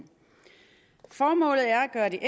er det